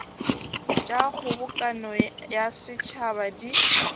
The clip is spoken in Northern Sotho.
tša kgobokano ya setšhaba di